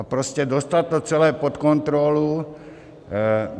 A prostě dostat to celé pod kontrolu.